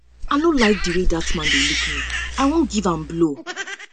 i no like the way dat man dey look me i wan give am blow